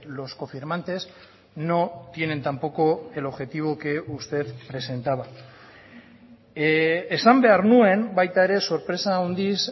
los cofirmantes no tienen tampoco el objetivo que usted presentaba esan behar nuen baita ere sorpresa handiz